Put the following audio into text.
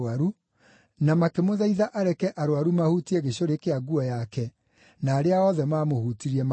na makĩmũthaitha areke arũaru mahutie gĩcũrĩ kĩa nguo yake, na arĩa othe maamũhutirie makĩhonio.